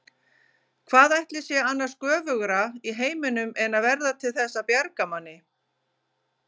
Hvað ætli sé annars göfugra í heiminum en að verða til þess að bjarga manni.